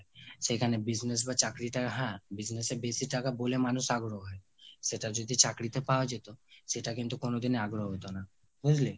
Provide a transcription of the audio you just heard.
সেখানে business বা চাকরি টা হ্যা, business এ বেশি টাকা বলে মানুষ আগ্রহ হয়। সেটা যদি চাকরিতে পাওয়া যেত, সেটা কিন্তু কোনো দিনই আগ্রহ হতো না। বুজলি?